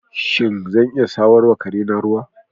Shin, zan iya samar wa kare na ruwa?